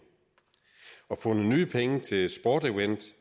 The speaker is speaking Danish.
og fundet nye penge til sport event